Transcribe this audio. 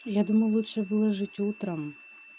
я думаю лучше выложить утром